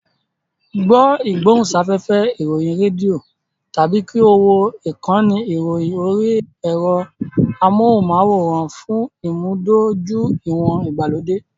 Gbọ́ ìgbóhùnsáfẹ́fẹ́ ìròyìn rédíò tàbí kí o wo ìkànnì ìròyìn orí ẹ̀rọ amóhùnmáwòrán fún ìmúdójúìwọ̀n ìgbàlódé.